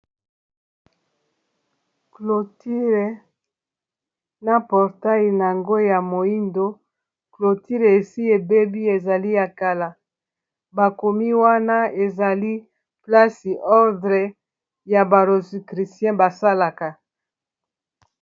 cloture na portail na ngo ya moyindo clotire esi ebebi ezali ya kala bakomi wana ezali plasi ordre ya barosicritien basalaka